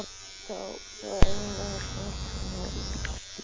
Þá er einangrun fatanna að vísu líka minni.